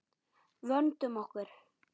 Vöndum okkur.